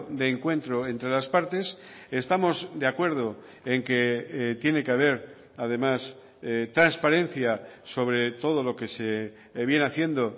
de encuentro entre las partes estamos de acuerdo en que tiene que haber además transparencia sobre todo lo que se viene haciendo